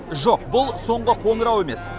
жоқ бұл соңғы қоңырау емес